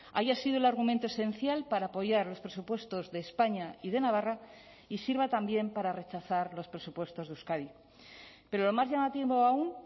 haya sido el argumento esencial para apoyar los presupuestos de españa y de navarra y sirva también para rechazar los presupuestos de euskadi pero lo más llamativo aún